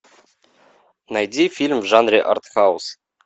найди фильм в жанре артхаус